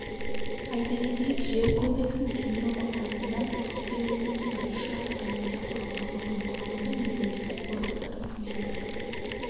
айта кетейік жер кодексін түсіндіру мақсатында ақтөбе облысында үшжақты комиссия құрылды оның құрамында мемлекеттік органдар үкіметтік